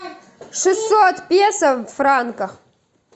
шестьсот песо в франках